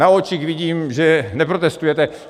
Na očích vidím, že neprotestujete.